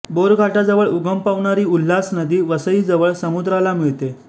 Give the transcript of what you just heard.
bore घाटाजवळ उगम पावणारी उल्हास नदी वसईजवळ समुद्राला मिळते